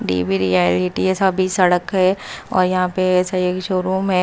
TV reality है सभी सड़क है और यहां पे सही शोरूम है।